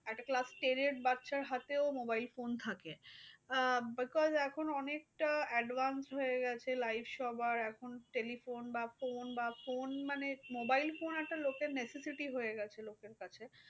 একটা class ten এর বাচ্চার হাতেও mobile phone থাকে। আহ because এখন অনেকটা advance হয়ে গেছে life সবার। এখন telephone বা phone বা phone মানে mobile phone এর একটা লোকের necessity হয়ে গেছে লোকের কাছে।